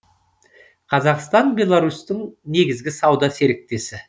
қазақстан беларусьтің негізгі сауда серіктесі